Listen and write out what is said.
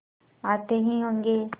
आते ही होंगे